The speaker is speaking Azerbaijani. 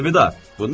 Əlvida!